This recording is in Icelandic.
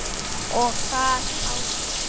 Og þar áður?